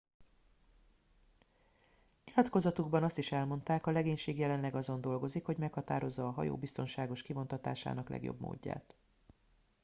nyilatkozatukban azt is elmondták a legénység jelenleg azon dolgozik hogy meghatározza a hajó biztonságos kivontatásának legjobb módját